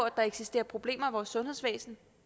at der eksisterer problemer i vores sundhedsvæsen